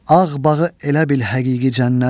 Ağ bağı elə bil həqiqi cənnət.